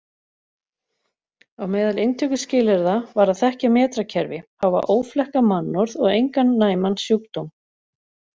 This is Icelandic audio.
Á meðal inntökuskilyrða var að þekkja metrakerfi, hafa óflekkað mannorð og engan næman sjúkdóm.